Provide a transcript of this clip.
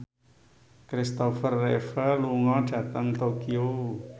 Christopher Reeve lunga dhateng Tokyo